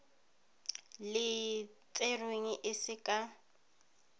le tserweng e se ka